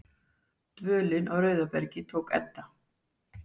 Dvölin á Rauðabergi tók enda.